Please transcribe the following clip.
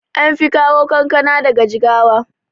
anfi kawo kankana daga jigawa